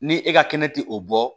Ni e ka kɛnɛ ti o bɔ